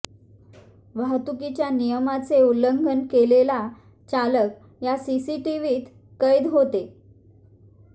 वाहतुकीच्या नियमाचे उल्लंघन केलेला चालक या सीसीटीव्हीत कैद होते